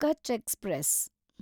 Kutch express